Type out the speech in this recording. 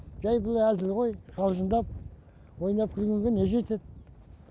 жай бұл әзіл ғой қалжыңдап ойнап күлгенге не жетеді